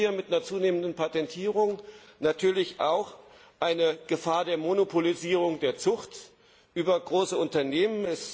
Es droht hier mit einer zunehmenden Patentierung natürlich auch die Gefahr der Monopolisierung der Zucht über große Unternehmen.